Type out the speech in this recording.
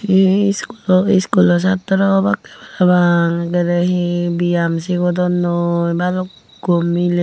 eya he iskulo iskulo satra obakke para pang ekaray he biam cigodonnoi bulukku mili.